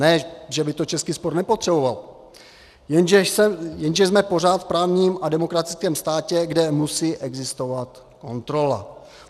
Ne že by to český sport nepotřeboval, jenže jsme pořád v právním a demokratickém státě, kde musí existovat kontrola.